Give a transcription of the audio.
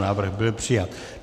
Návrh byl přijat.